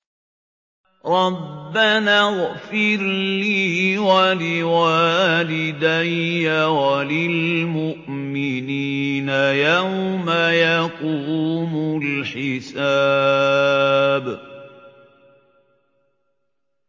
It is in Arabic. رَبَّنَا اغْفِرْ لِي وَلِوَالِدَيَّ وَلِلْمُؤْمِنِينَ يَوْمَ يَقُومُ الْحِسَابُ